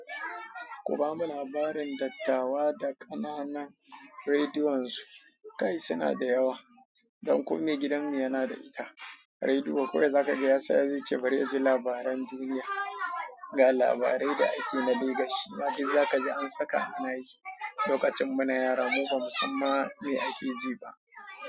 Kuba mun labarin dattawa da ƙananan rediyon su, kai suna da yawa. Don kum mai gidanmu yana da ita. Rediyo kawai zaka ga ya siya zai ce bari yaji labaran duniya, ga labarai da ake na legashi. Maggi za ka ji an saka ana yi. Lokacin muna yara mu ba musamma mai ake ji ba.